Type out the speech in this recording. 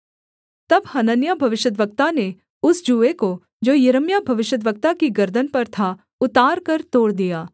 तब हनन्याह भविष्यद्वक्ता ने उस जूए को जो यिर्मयाह भविष्यद्वक्ता की गर्दन पर था उतारकर तोड़ दिया